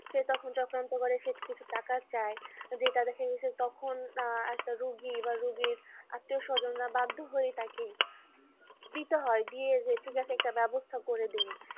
সে তখন চক্রান্ত করে সে কিছু টাকা চাই যে তাদেরকে তখন একটা রোগী বা রুগীর আত্মীয়-স্বজনরা বাধ্য হয়ে তাকে দিতে হয় ঠিক আছে একটা ব্যবস্থা করে দিন